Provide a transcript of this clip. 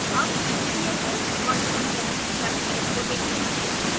अब sbhs virtual labs website को देखते हैं